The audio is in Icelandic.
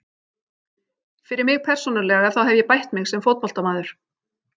Fyrir mig persónulega þá hef ég bætt mig sem fótboltamaður.